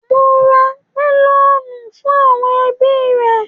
Mò ń ra mẹlọ̀nù fún àwọn ẹbí mi.